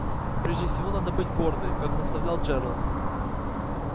прежде всего надо быть гордой как наставлял джералд